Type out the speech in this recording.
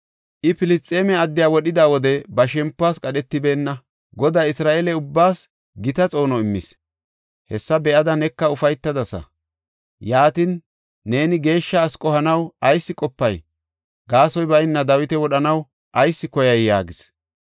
I Filisxeeme addiya wodhida wode ba shempuwas qadhetibeenna. Goday Isra7eele ubbaas gita xoono immis; hessa be7ada neka ufaytadasa. Yaatin, neeni geeshsha asi qohanaw ayis qopay? Gaasoy bayna Dawita wodhanaw ayis koyay?” yaagis.